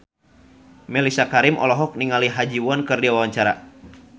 Mellisa Karim olohok ningali Ha Ji Won keur diwawancara